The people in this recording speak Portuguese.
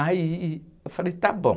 Aí eu falei, tá bom.